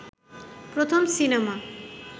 প্রথম সিনেমা